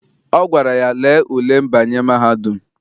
Ọ gwara ya, lee ule mbanye mahadum!